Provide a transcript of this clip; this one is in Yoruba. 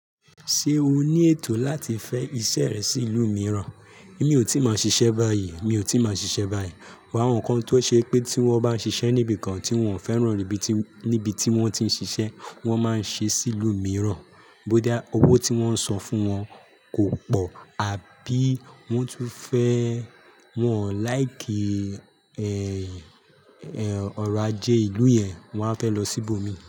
Ṣé o ní ètò láti fẹ iṣẹ́ rẹ sí ìlú mìíràn? Mi ò tíì máa ṣiṣẹ́ báyìí, mi ò tíì máa ṣiṣẹ́ báyìí. But áwọ́n kan tó ṣe pé tí wọ́n bá ń ṣiṣẹ́ níbi kan tí wọ́n ò fẹ́ràn níbi tí wọ́n ti ń ṣiṣẹ́, wọ́n máa ń ṣe sí ìlú mìíràn. Bó dá owó tí wọ́n ń san fún wọn kò pọ̀ àbí wọ́n tú fẹ́, wọ́n ò láìkì, ẹ́, ẹ́, ọ̀rọ̀ ajé ìlú yẹn, wọ́n á fẹ́ lọ sí ibòmíràn.